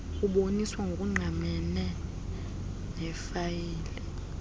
uboniswa ngokungqamene nefayile